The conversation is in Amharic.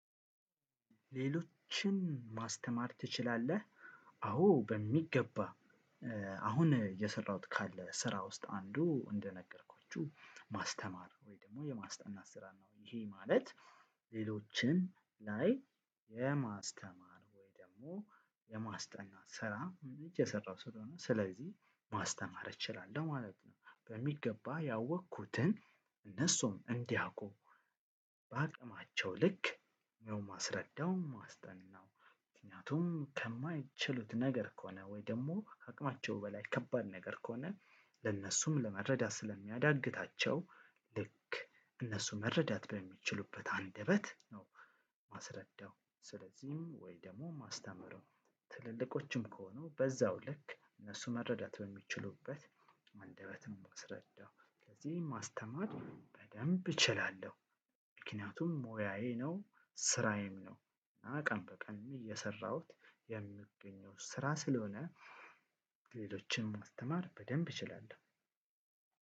ሌሎችን ማስተማር ትችላለህ? አዎ በሚገባ። አሁን የሰራሁት ካለ ስራ ውስጥ አንዱ እንደነገርኳችሁ ማስተማር ወይ ደግሞ የማስተማር ስራ ነው። ይሄ ማለት ሌሎችን ላይ የማስተማር ወይ ደግሞ የማስጠናት ስራ እየሰራው ስለሆነ ስለዚህ ማስተማር እችላለሁ ማለት ነው። በሚገባ ያወቅኩትን እነሱም እንዲያውቁ በአቅማቸው ልክ ነው እማስረዳው እማስጠናው። ምክንያቱም ከማይችሉት ነገር ከሆነ ወይ ደሞ ከአቅማቸው በላይ ከባድ ነገር ከሆነ ለእነሱም ለመረዳት ስለሚያዳግታቸው ልክ እነሱ መረዳት በሚችሉበት አንደበት ነው። እማስረዳው ስለዚህም ወይ ደግሞ እማስተምረው። ትልልቆችም ከሆኑ በዛው ልክ እነሱ መረዳት በሚችሉበት አንደበት እማስረዳው። ስለዚህ ማስተማር በደንብ እችላለሁ። ምክንያቱም ሞያዬ ነው ስራዬም ነው ቀንበቀንም ቀንበቀንም እየሰራሁት የምገኘው ስራ ስለሆነ። ሌሎችን ማስተማር በደንብ እችላለሁ።